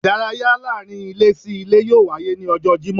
Idàráyá laarin ilé sí ìlé yóò waye ni ọjọ Jimọ